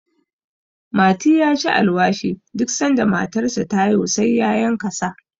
mati ya ci alwashi duk sanda matarsa ta haihu sai ya yanka sa